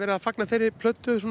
að fagna þeirri plötu